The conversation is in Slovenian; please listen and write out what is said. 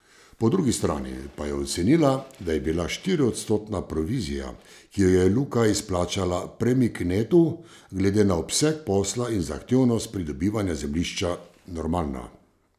Po drugi strani pa je ocenila, da je bila štiriodstotna provizija, ki jo je Luka izplačala Premik netu, glede na obseg posla in zahtevnost pridobivanja zemljišča normalna.